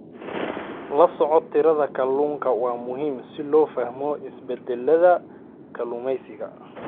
La socodka tirada kalluunka waa muhiim si loo fahmo isbeddellada kalluumeysiga.